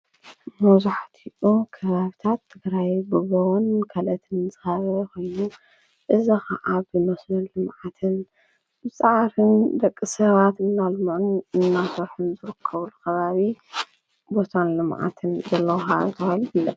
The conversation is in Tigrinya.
መብዛሕቲኡ ክባብታት ትግራይ ብበወን ከለትን ዘሃበኸኑ እዝ ኸዓ ብመስን ልመዓትን ምፅዓርን ደቂ ሰባት እናልሙዑን እናተሕን ዘርክቡሉ ኸባብ ቦታን ልመዓትን ዘለዉ ከባቢ ተባሂሉ ።